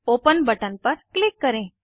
open button पर click करें